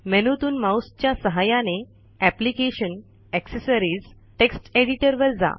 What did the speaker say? मेनूतून माऊसच्या सहाय्याने application gtaccessories GT text editor वर जा